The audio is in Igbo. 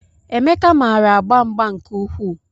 Emeka maara agba mgba nke ukwuu